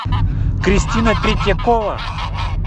кристина третьякова